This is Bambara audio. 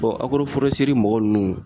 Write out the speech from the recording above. Bɔn agoro forɛseri mɔgɔ nunnu